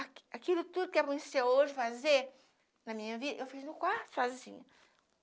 Aqui aquilo tudo que é bom de ser hoje, fazer, na minha vida, eu fiz no quarto sozinha.